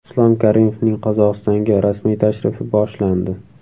Islom Karimovning Qozog‘istonga rasmiy tashrifi boshlandi.